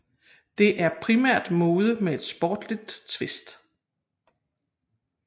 Det er primært mode med et sportsligt twist